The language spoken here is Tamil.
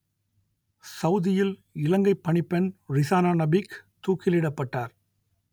சவுதியில் இலங்கைப் பணிப்பெண் ரிசானா நபீக் தூக்கிலிடப்பட்டார்